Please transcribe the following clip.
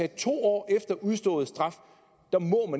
to år efter udstået straf